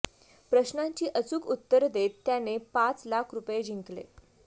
प्रश्नांची अचूक उत्तर देत त्यांने पाच लाख रुपये जिंकले